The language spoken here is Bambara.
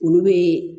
Olu bɛ